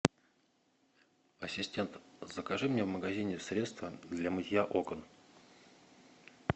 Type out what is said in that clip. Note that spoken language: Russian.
ассистент закажи мне в магазине средство для мытья окон